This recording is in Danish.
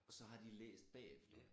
Og så har de læst bagefter